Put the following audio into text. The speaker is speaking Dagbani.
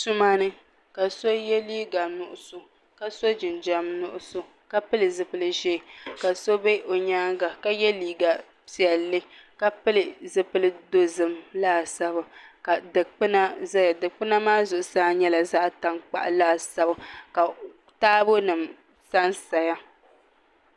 Tuma ni ka so yɛ liiga nuɣso ka so jinjɛm nuɣso ka pili zipili ʒiɛ ka so bɛ o nyaanga ka yɛ liiga piɛlli ka pili zipili dozim laasabu ka dikpuna ʒɛya dikpuna maa zuɣusaa nyɛla zaɣ tankpaɣu laasabu ka taabo nim sansaya